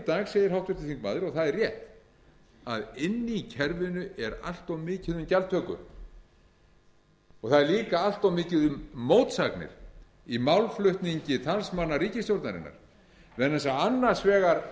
dag segir háttvirtur þingmaður og það er rétt að inni í kerfinu er allt of mikið um gjaldtöku það er líka allt of mikið um mótsagnir í málflutningi talsmanna ríkisstjórnarinnar vegna þess að annars vegar